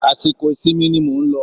Àsìkò ìsinmi ni mò ń lọ